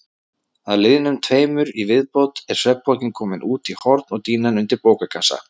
Að liðnum tveimur í viðbót er svefnpokinn kominn út í horn og dýnan undir bókakassa.